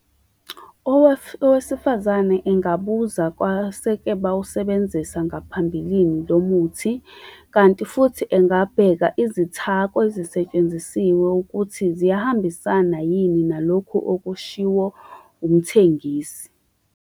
Owesifazane engabuza kwaseke bawusebenzisa ngaphambilini lo muthi. Kanti futhi engabheka izithako ezisetshenzisiwe ukuthi ziyahambisana yini nalokhu okushiwo umthengisi.